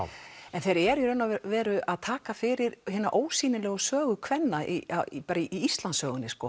en þeir eru í raun og veru að taka fyrir hina ósýnilegu sögu kvenna í í Íslandssögunni